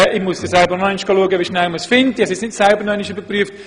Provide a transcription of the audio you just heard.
Ich habe es selber noch nicht überprüft, werde das aber nachholen.